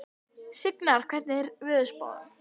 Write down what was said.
Signar, hvernig er veðurspáin?